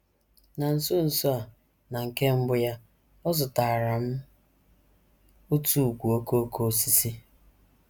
Na nso nso a, na nke mbụ ya, ọ zụtaara m otu ùkwù okooko osisi.